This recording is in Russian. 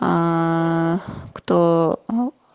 аа кто аа